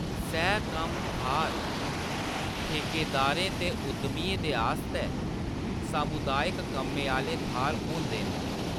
सह-कम्म थाह्‌‌‌र ठेकेदारें ते उद्यमियें दे आस्तै सामुदायक कम्में आह्‌ले थाह्‌‌‌र होंदे न।